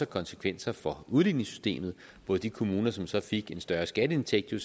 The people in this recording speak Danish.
konsekvenser for udligningssystemet hvor de kommuner som så fik en større skatteindtægt jo